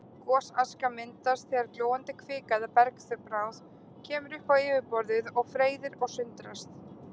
Gosaska myndast þegar glóandi kvika eða bergbráð kemur upp á yfirborðið og freyðir og sundrast.